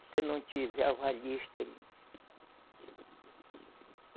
Você não tiver avalista aí.